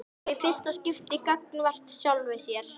Og í fyrsta skipti gagnvart sjálfri sér.